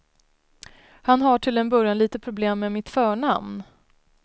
Han har till en början lite problem med mitt förnamn.